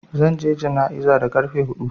Zan je jana'iza da ƙarfe huɗu.